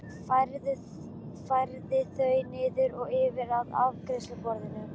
Færði þau niður og yfir að afgreiðsluborðinu.